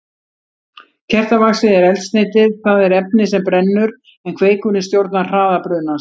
Kertavaxið er eldsneytið, það er efnið sem brennur, en kveikurinn stjórnar hraða brunans.